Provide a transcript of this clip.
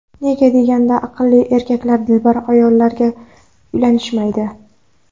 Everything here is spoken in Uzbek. Nega deganda aqlli erkaklar dilbar ayollarga uylanishmaydi.